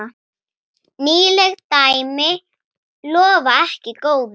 Nýleg dæmi lofa ekki góðu.